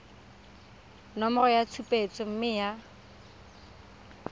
nomoro ya tshupetso mme ya